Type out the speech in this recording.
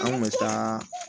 An kun bɛ taa